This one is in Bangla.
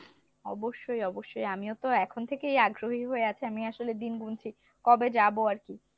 অবশ্যই অবশ্যই, আমিওতো এখন থেকেই আগ্রহী হয়ে আছি আমি আসলে দিন গুনছি কবে যাবো আরকি।